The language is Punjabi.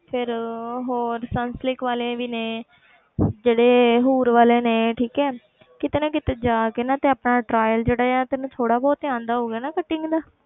ਫਿਰ ਹੋਰ ਸਨਸਲਿਕ ਵਾਲੇ ਵੀ ਨੇ ਜਿਹੜੇ ਹੂਰ ਵਾਲੇ ਨੇ ਠੀਕ ਹੈ ਕਿਤੇ ਨਾ ਕਿਤੇ ਜਾ ਕੇ ਨਾ ਤੇ ਆਪਣਾ trial ਜਿਹੜਾ ਹੈ ਤੈਨੂੰ ਥੋੜ੍ਹਾ ਬਹੁਤ ਤੇ ਆਉਂਦਾ ਹੋਊਗਾ ਨਾ cutting ਦਾ